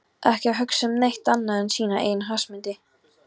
Ekki að hugsa um neitt annað en sína eigin hagsmuni!